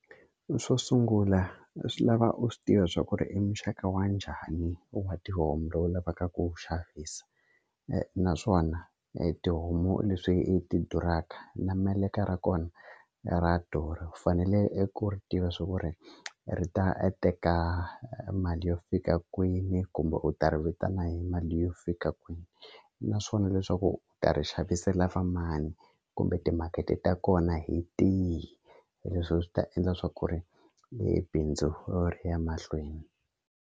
Xo sungula swi lava u swi tiva swa ku ri i muxaka wa njhani wa tihomu lowu lavaka ku wu xavisa naswona tihomu leswi i ti duraka na meleka ra kona ra durha u fanele eku ri tiva swa ku ri ri ta teka mali yo fika kwini kumbe u ta ri vitana hi mali yo fika kwini naswona leswaku ta ri xavisela va mani kumbe timakete ta kona hi tihi leswi swi ta endla swa ku ri bindzu ri ya mahlweni.